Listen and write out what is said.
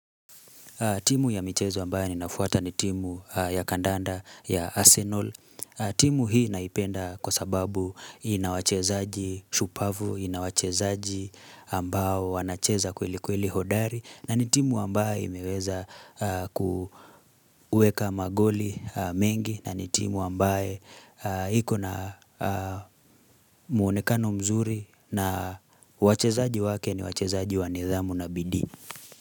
Timu ya michezo ambaye ninafuata ni timu ya kandanda ya Arsenal. Timu hii naipenda kwa sababu inawachezaji shupavu, inawachezaji ambao wanacheza kweli kweli hodari na ni timu ambayo imeweza kuweka magoli mengi na ni timu ambaye hiko na muonekano mzuri na wachezaji wake ni wachezaji wanithamu na bidii.